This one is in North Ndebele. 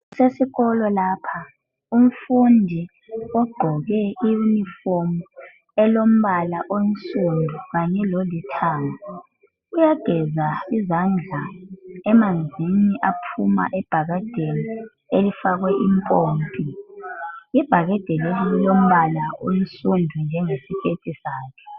Kusesikolo lapha umfundi ogqoke iyunifomu elombala omhlophe kanye lolithanga uyageza izandla emanzini aphuma ebhakedeni elifakwe ipompi ibhakedi leli lilombala osundu njengesiketi sakhe